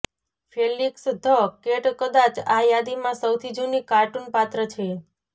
Felix the cat કદાચ આ યાદીમાં સૌથી જુની કાર્ટુન પાત્ર છે